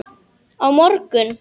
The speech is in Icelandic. Á morgun.